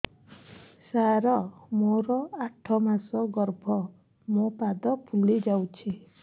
ସାର ମୋର ଆଠ ମାସ ଗର୍ଭ ମୋ ପାଦ ଫୁଲିଯାଉଛି